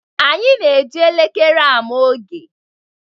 Anyị na-eji elekere ama oge.